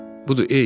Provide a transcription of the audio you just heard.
Budur, ey,